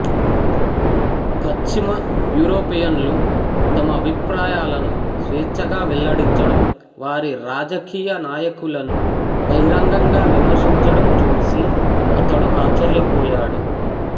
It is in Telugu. పశ్చిమ యూరోపియన్లు తమ అభిప్రాయాలను స్వేచ్ఛగా వెల్లడించడం వారి రాజకీయ నాయకులను బహిరంగంగా విమర్శించడమూ చూసి అతడు ఆశ్చర్య పోయాడు